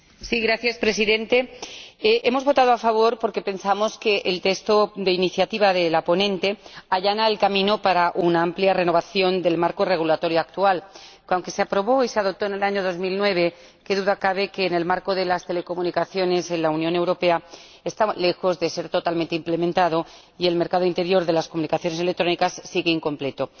Señor Presidente, hemos votado a favor porque pensamos que el informe de iniciativa de la ponente allana el camino para una amplia renovación del marco regulador actual, que, aunque se aprobó y se adoptó en el año 2009, qué duda cabe de que, en el ámbito de las telecomunicaciones en la Unión Europea, está lejos de estar totalmente implementado y de que el mercado interior de las comunicaciones electrónicas sigue incompleto.